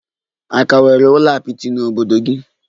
A ka nwere ụlọ apịtị n'obodo gị?